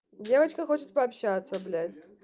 девочка хочет пообщаться блять